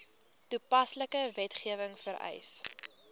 toepaslike wetgewing vereis